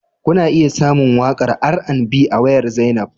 Kuna iya samun waƙar R&B a wayar Zainab